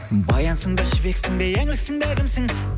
баянсың ба жібексің бе еңліксің бе кімсің